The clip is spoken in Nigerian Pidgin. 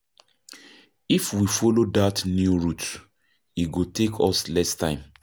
If we follow that new route, e go take us less time.